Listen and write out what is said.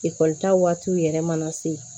Ekɔlita waatiw yɛrɛ mana se